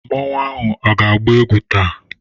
Masquerade ga-agba egwu taa?